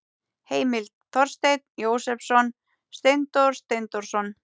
Heimild: Þorsteinn Jósepsson, Steindór Steindórsson.